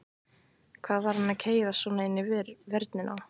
Hvað var hann að keyra svona inn í vörnina?